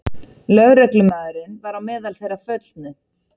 Lögreglumaðurinn var á meðal þeirra föllnu